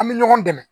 An bɛ ɲɔgɔn dɛmɛ